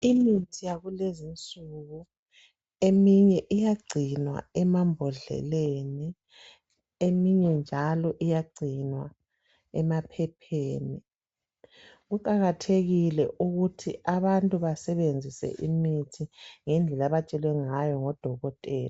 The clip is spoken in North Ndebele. Imithi yakulezi insuku eminye iyagcinwa emambodleleni eminye njalo iyagcinwa emaphepheni kuqakathekile ukuthi abantu basebenzisa imithi ngendlela abatshelwe ngayo ngodokotela.